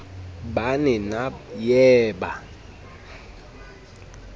ba ne na ye ba